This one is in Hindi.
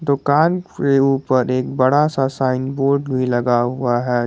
दुकान से ऊपर एक बड़ा सा साइन बोर्ड भी लगा हुआ है।